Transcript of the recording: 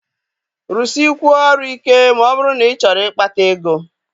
Rụsịkwuọ ọrụ ike ma ọ bụrụ na ịchọrọ ịkpata ego!